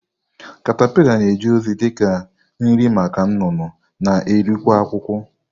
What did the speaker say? katapila na-eje ozi dị ka nri maka nnụnụ na eri kwa akwukwo.